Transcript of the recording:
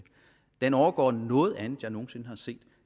den overgår noget andet jeg nogen sinde har set